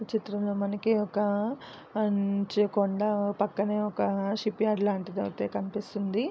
ఈ చిత్రమ్ లో మనకి ఒక మంచుకొండా పక్కనే ఒక షిప్యార్డ్ లాటిది కనిపిస్తోంది.